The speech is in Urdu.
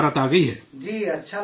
جی، اچھا لگتا ہے دیکھنے میں